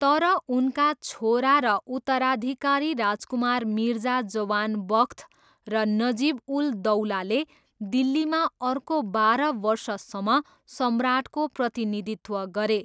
तर उनका छोरा र उत्तराधिकारी राजकुमार मिर्जा जवान बख्त र नजिब उल दौलाले दिल्लीमा अर्को बाह्र वर्षसम्म सम्राटको प्रतिनिधित्व गरे।